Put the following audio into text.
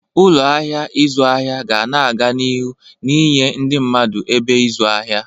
Ụlọ ahịa ịzụ ahịa ga-aga n'ihu na-enye ndị mmadụ ebe ịzụ ahịa.